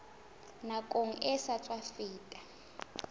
nakong e sa tswa feta